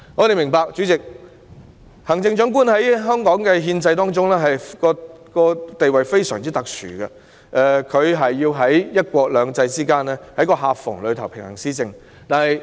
代理主席，我們明白行政長官在香港憲制中的地位非常特殊，要在"一國兩制"的夾縫中平衡施政。